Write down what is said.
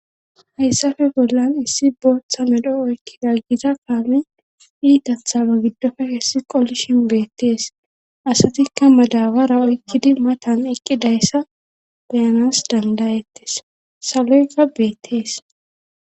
Hayssafe bollan issi booththa medho oykki daggiza kaame iitathala giddofe hessi qollishin beettees asatikka madabara oykkidi matan eqqidayssa beyanas dandayettes saloyga beettees.